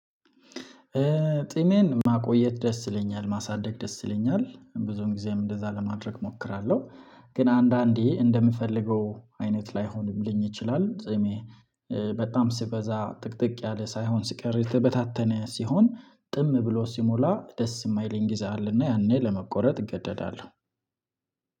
ጺሜን ማቆየት ደስ ይለኛል፣ ማሳደግ ደስ ይለኛል፣ ብዙን ጊዜም እንደዛ ለማድረግ እሞክራለሁ። ግን አንዳንዴ እንደምፈልገው አይነት ላይሆንልኝ ይችላል ጺሜ በጣም ሲበዛ ጥቅጥቅ ያለ ሳይሆን ሲቀር የተበታተነ ሲሆን ጥም ብሎ ሲሞላ ደስ የማይልኝ ጊዜ አለና ያኔ ለመቆረጥ እገደዳለሁ